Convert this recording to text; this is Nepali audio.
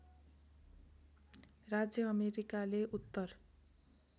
राज्य अमेरिकाले उत्तर